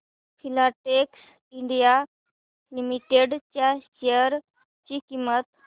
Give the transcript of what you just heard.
Filatex India Limited च्या share ची किंमत